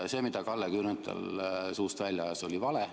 See, mida Kalle Grünthal suust välja ajas, oli vale.